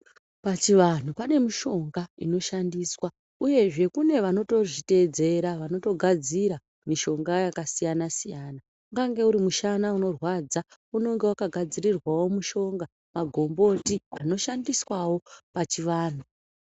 Pachivantu pane mishonga inoshandiswa uyezve kune vanotozvitedzera vanotogadzira mishonga yakasiyana-siyana. Ungange uri mushana unorwadza unonga vakagadzirirwavo mushonga magomboti anoshandiswavo pachivantu.